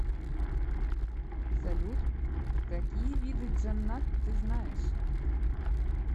салют какие виды джаннат ты знаешь